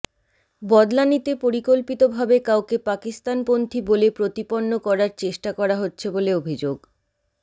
বদলা নিতে পরিকল্পিত ভাবে কাউকে পাকিস্তানপন্থী বলে প্রতিপন্ন করার চেষ্টা করা হচ্ছে বলে অভিযোগ